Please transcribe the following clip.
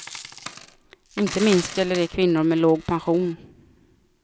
Inte minst gäller det kvinnor med låg pension.